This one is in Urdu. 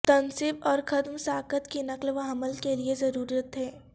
تنصیب اور ختم ساخت کی نقل و حمل کے لئے کی ضرورت ہے